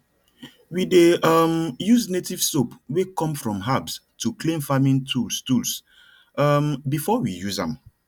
we dey um use native soap wey come from herbs to clean farming tools tools um before we use am